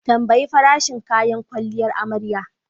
Tambayi farashin kayan kwalliyar amarya.